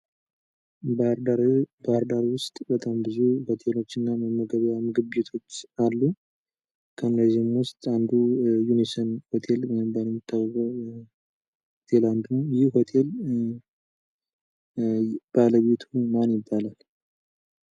ባህርዳር ውስጥ ብዙ ምግብ ቤቶች አሉ። ከእነዚህም ውስጥ ዩኒሰን ሆቴል በመባል የሚታወቀው አንዱ ነው ።ይህ ሆቴል ባለቤቱ ማን ይባላል?